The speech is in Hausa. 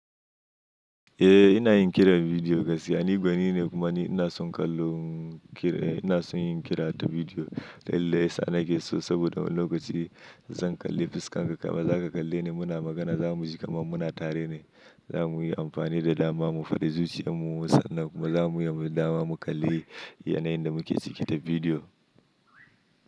Eh ina yin kiran bidiyo kasani gwani ne kuma ni ina son kallon kira, ina son yin kira ta bidiyo lallai sa na ke so saboda lokacin zan kalli fuskar ka kuma za ka kalle ni muna magana za mu ji kamar muna tare ne. Za mu yi amfani da dama mu faɗi zuciyarmu sannan kuma za mu yi dama mu kalli yanayin da muke ciki ta bidiyo.